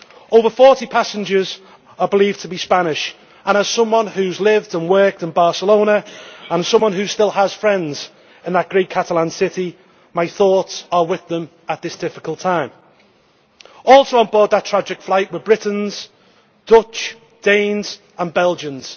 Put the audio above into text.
Over 40 passengers are believed to be Spanish, and as someone who has lived and worked in Barcelona and someone who still has friends in that great Catalan city, my thoughts are with them at this difficult time. Also on board that tragic flight were Britons, Dutch, Danes and Belgians.